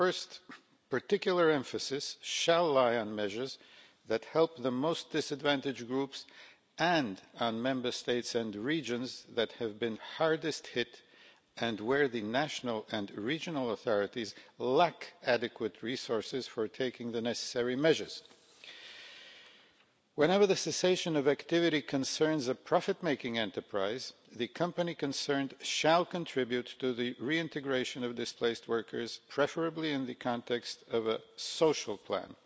First, particular emphasis shall lie on measures that help the most disadvantaged groups and on Member States and the regions that have been hardest hit and where the national and regional authorities lack adequate resources for taking the necessary measures. Whenever the cessation of activity concerns a profit-making enterprise, the company concerned shall contribute to the reintegration of displaced workers, preferably in the context of a social plan.